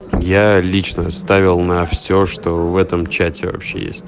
я лично ставил на все что в этом чате вообще